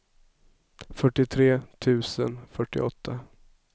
fyrtiotre tusen fyrtioåtta